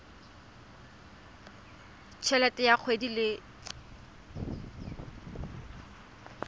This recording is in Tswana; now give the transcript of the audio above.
t helete ya kgwedi le